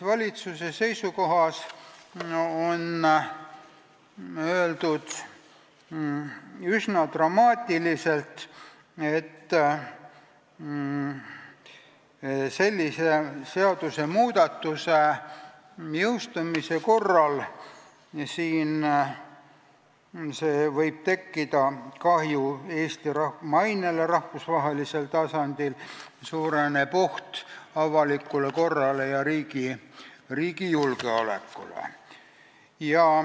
Valitsuse seisukohas on öeldud üsna dramaatiliselt, et sellise seadusmuudatuse jõustumise korral võib tekkida kahju Eesti rahva mainele rahvusvahelisel tasandil ning suureneb oht avalikule korrale ja riigi julgeolekule.